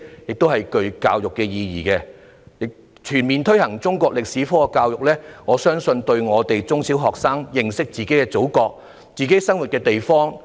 此舉亦具有教育意義，就是全面推行中國歷史科教育，可讓中小學生認識祖國及自己生活的地方。